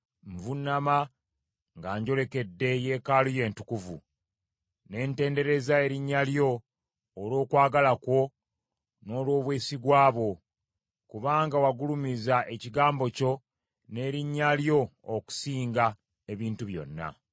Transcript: Nvuunama nga njolekedde Yeekaalu yo Entukuvu, ne ntendereza erinnya lyo olw’okwagala kwo n’olw’obwesigwa bwo; kubanga wagulumiza ekigambo kyo n’erinnya lyo okusinga ebintu byonna.